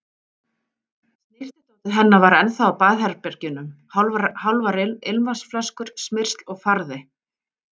Snyrtidótið hennar var ennþá á baðherbergjunum, hálfar ilmvatnsflöskur, smyrsl og farði.